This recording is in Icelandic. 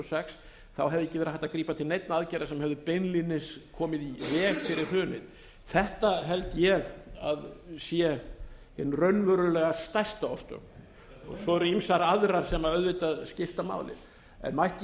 sex hefði ekki leið hægt að grípa til neinna aðgerða sem hefðu beinlínis komið í veg fyrr hrunið þetta held ég að sé hin raunverulega stærsta orsök svo eru ýmsar aðrar sem auðvitað skipta máli en mætti ég